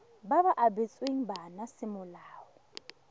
ba ba abetsweng bana semolao